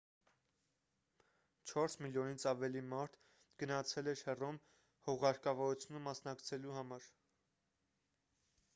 չորս միլիոնից ավելի մարդ գնացել էր հռոմ հուղարկավորությանը մասնակցելու համար